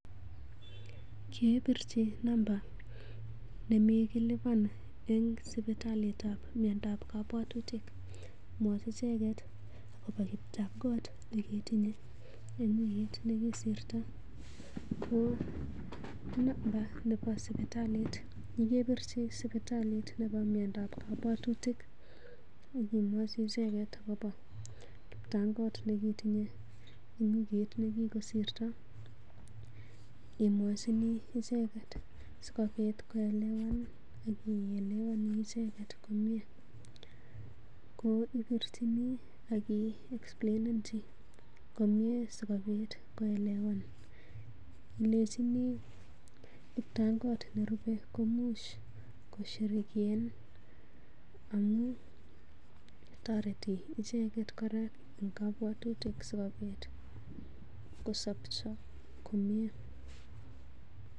Kepirchi namba nemikilipan eng sipitalitab miyandoab kabwatutik. Mwach icheket akobo kiptangot nekitinye eng wikit nekikosirito. Ko namba nebo sipitalit ye kepirchi sipitalit nebo miandap kabwatutik ak imwochi icheget agobo kiptangot nekitinye eng wikit nekikgosirto imwachin icheget sigobit koelewan ak ielewani icheget komie. Ko ipirchini ak iexplainenji komye sikobit koelewan ilenchini, kiptangot nerupe komuch koshe amun toreti icheget kora en kabwatutik sikobit kosobcho komye.